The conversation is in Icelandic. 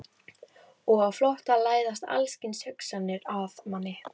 Og á flótta læðast alls kyns hugsanir að manni.